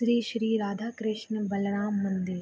श्री-श्री राधा कृष्णा बलराम मंदिर।